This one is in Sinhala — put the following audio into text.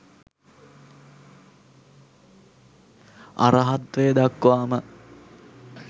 අරහත්වය දක්වාම